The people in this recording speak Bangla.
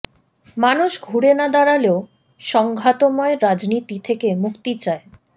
মানুষ ঘুরে না দাঁড়ালেও সংঘাতময় রাজনীতি থেকে মুক্তি চায়